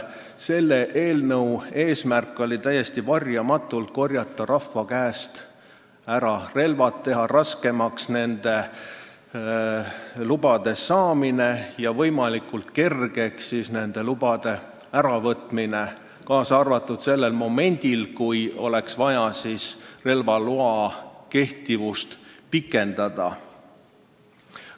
Täiesti varjamatult oli selle eelnõu eesmärk korjata rahva käest ära relvad, teha raskemaks relvaloa saamine ja võimalikult kergeks selle äravõtmine, kaasa arvatud sellel momendil, kui oleks vaja relvaloa kehtivust pikendada.